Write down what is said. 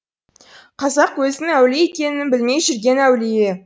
қазақ өзінің әулие екенін білмей жүрген әулие